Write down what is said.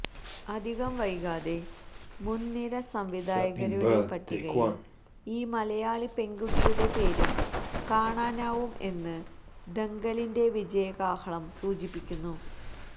അധികം വൈകാതെ മുന്നിര സംവിധായകരുടെ പട്ടികയില് ഈ മലയാളിപ്പെണ്കുട്ടിയുടെ പേരും കാണാനാവും എന്ന് ദംഗലിന്െറ വിജയകാഹളം സൂചിപ്പിക്കുന്നു